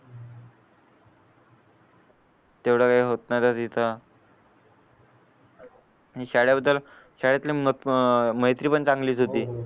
तेवढा वेळ होत नाय मित्रा आणि शाळेबद्दल शाळेतले मैत्री पण चांगलीच होती